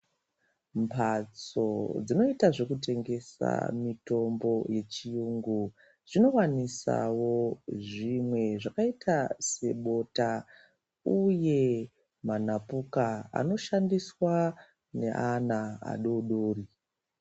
Mhatso dzinoita zvokutengesa mitombo yechiyungu dzinowanisawo zvimwe zvakaita sebota uye munapuka anoshandiswa nevana vadodori.